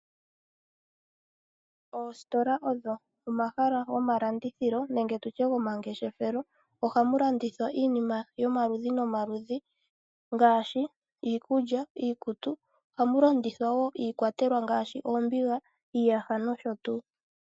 Oositola odho omahala gomalandithilo nenge tutye gomangeshefelo. Ohamu landithwa iinima yoma ludhi noma ludhi ngaashi iikudja, iikutu. Ohamu landithwa woo iikwatelwa ngaashi oombiga, iiyaha nosho tuu.